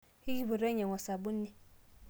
ekipuoto ainyiangu osabuni